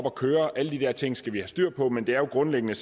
at køre alle de her ting skal vi have styr på men det er jo grundlæggende